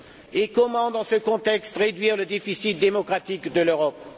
Et comment, dans ce contexte, réduire le déficit démocratique de l'Europe?